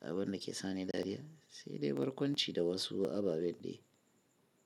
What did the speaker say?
Abin da ke sa ni dariya sai dai barkwanci da wasu ababen dai.